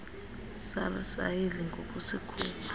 sars ayidli ngokusikhupha